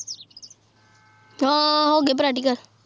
ਹਾਂ ਹੋਗੇ ਪਰੈਟਿਕਲੇ